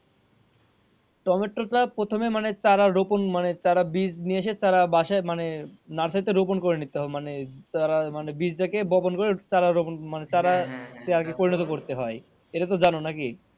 Tomato টা প্রথমে মানে তারা রোপণ মানে তারা বীজ নিয়ে এসে তারা বাসায় মানে না চাইতে রোপণ করে নিত মানে তারা মানে বীজ টা বপন করে তারা রোপণ মানে তারা পরিনত করতে হয় এটা তো জানো নাকি?